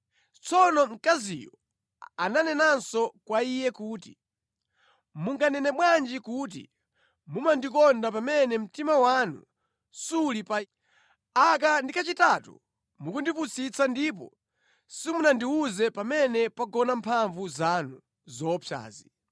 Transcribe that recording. Tsono mkaziyo ananenanso kwa iye kuti, “Munganene bwanji kuti mumandikonda pamene mtima wanu suli pa ine? Aka ndi kachitatu mukundipusitsa ndipo simunandiwuze pamene pagona mphamvu zanu zoopsazi.”